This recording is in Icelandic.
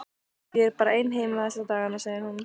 Ég er bara ein heima þessa dagana, segir hún.